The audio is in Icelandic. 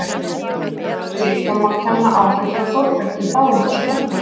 við höfundarverk sitt, og má kenna áhrif frá Þórbergi í báðum þessum verkum.